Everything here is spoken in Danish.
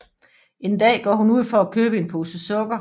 En dag går hun ud for at købe en pose sukker